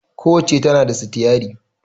Ku wacca tana da sitiyari